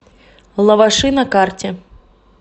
лаваши на карте